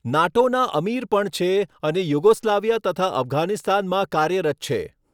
નાટોના અમિર પણ છે અને યુગોસ્લાવિયા તથા અફધાનિસ્તાનમાં કાર્યરત છે.